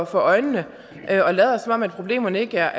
for øjnene og lader som om problemerne ikke er